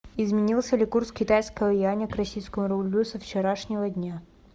изменился ли курс китайского юаня к российскому рублю со вчерашнего дня